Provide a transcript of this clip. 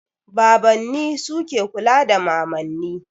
Babanni su ke kula da mamanni.